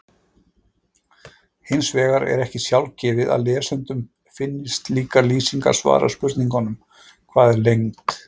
Hins vegar er ekki sjálfgefið að lesendum finnist slíkar lýsingar svara spurningunum Hvað er lengd?